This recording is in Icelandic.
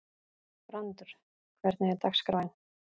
Brandr, hvernig er dagskráin?